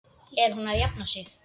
Er hún að jafna sig?